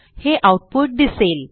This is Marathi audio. हे आऊटपुट दिसेल